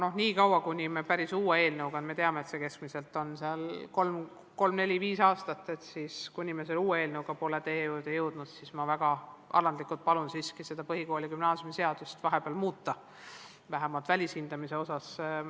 Aga nii kaua, kuni me päris uue eelnõuga, mille koostamiseks kulub, nagu me teame, keskmiselt kolm-neli-viis aastat, pole teie juurde jõudnud, ma väga alandlikult palun siiski põhikooli- ja gümnaasiumiseadust vahepeal muuta, vähemalt välishindamise osas.